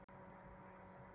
Aðalbraut